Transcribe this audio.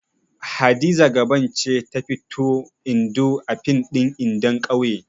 Hadiza Gabon ce ta fito Indo a fim ɗin Indon ƙauye.